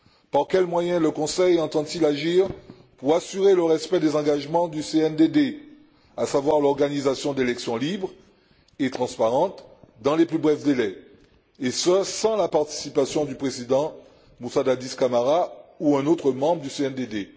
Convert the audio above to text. Par quels moyens le Conseil entend il agir pour assurer le respect des engagements du CNDD, à savoir l'organisation d'élections libres et transparentes dans les plus brefs délais, et ce sans la participation du président Moussa Dadis Camara ou d'un autre membre du CNDD?